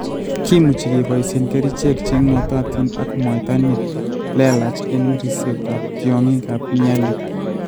Kimuuchi keboisyee kerichek che ng'atootin ak mwaita ne leelach eng' riipsetap tyong'igap mealy.